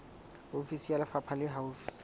ofisi ya lefapha le haufi